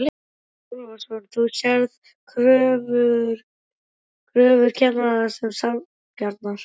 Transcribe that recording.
Mikael Torfason: Þú sérð kröfur kennara sem sanngjarnar?